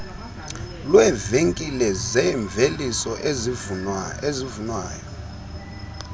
lweevenkile zeemveliso ezivunwayo